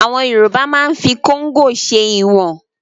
Àwọn Yorùbá máa ń fi kóngò ṣe ìwọ̀n